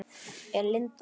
Er Linda að vinna?